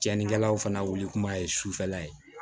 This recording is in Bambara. Cɛnnikɛlaw fana wuli kuma ye sufɛla ye